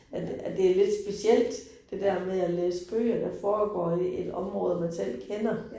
At at det lidt specielt det der med at læse bøger, der foregår i et område, man selv kender